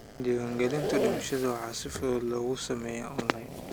Diiwaangelinta dhimashada waxaa si fudud loogu sameeyaa onlayn.